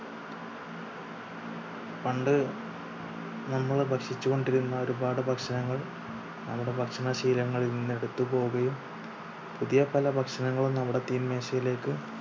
പണ്ട് നമ്മൾ ഭക്ഷിച്ചു കൊണ്ടിരുന്ന ഒരുപാട് ഭക്ഷണങ്ങൾ നമ്മുടെ ഭക്ഷണ ശീലങ്ങളിൽ നിന്നും എടുത്ത് പോകുകയും പുതിയ പല ഭക്ഷണങ്ങളും നമ്മുടെ തീൻ മേശയിലേക്ക്